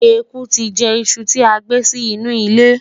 ẹkú ti jẹ iṣu ti agbé Si inú ile